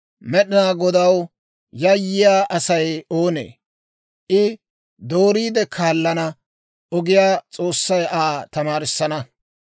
Med'inaa Godaw yayyiyaa Asay oonee? I dooriide kaalana ogiyaa S'oossay Aa tamaarissana.